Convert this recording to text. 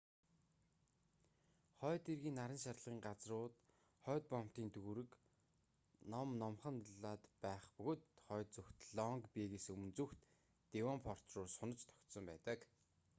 хойд эргийн наран шарлагын газрууд хойд боомтын дүүрэг ном номхон далайд байх бөгөөд хойд зүгт лонг бэйгээс өмнө зүгт девонпорт руу сунаж тогтсон байдаг